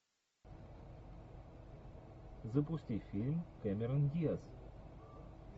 запусти фильм кэмерон диаз